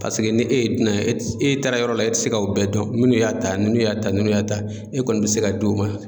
Paseke ne e ye dunan e taara yɔrɔ la e te se k'o bɛɛ dɔn munnu y'a ta nunnu y'a ta nunnu y'a ta e kɔni be se ka d'o ma